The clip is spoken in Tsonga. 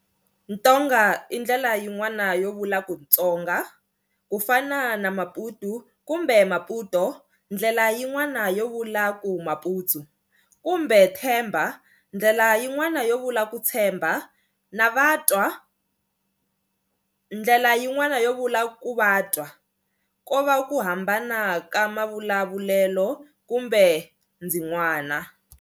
Tonga i ndlela yinwani yovula ku Tsonga kufana na Maputu kumbe Maputo ndlela yinwani yovula ku Maputsu kumbe Themba ndlela yinwani yovula ku tshemba na Vatwa ndlela yinwani yovula ku Vatswa, ko va ku hambana ka mavulavulelo kumbe ndzin'wana.